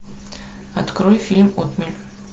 открой фильм отмель